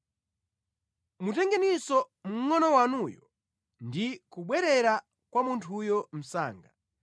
Mutengeninso mngʼono wanuyu ndi kubwerera kwa munthuyo msanga.